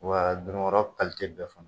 Wa dun dun kɔrɔ kalite bɛɛ fana.